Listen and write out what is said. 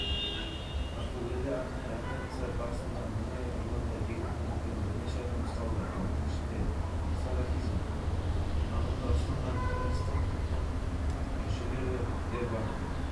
мен видеокадрлардан тұрады мультимедиялық лонгрид форматы оқырмандарға егемендік жолындағы жас мемлекеттің алғашқы қадамынан бастап астананың